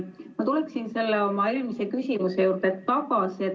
Ma tulen oma eelmise küsimuse juurde tagasi.